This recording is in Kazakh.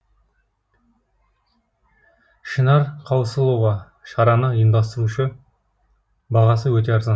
шынар қаусылова шараны ұйымдастырушы бағасы өте арзан